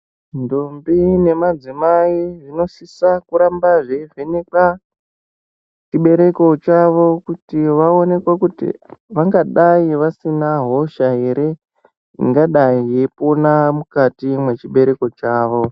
Ndombi nemadzimai zvinosisa kuramba zveivhenekwa chibereko chavo kuti vaonekwe kuti vangadai vasina hosha ere ingadai yeipona mukati mwechibereko chavo.